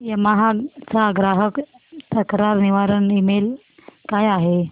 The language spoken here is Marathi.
यामाहा चा ग्राहक तक्रार निवारण ईमेल काय आहे